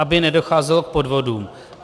Aby nedocházelo k podvodům.